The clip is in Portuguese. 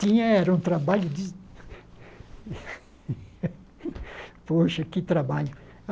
Tinha, era um trabalho de... Poxa, que trabalho!